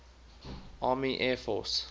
army air force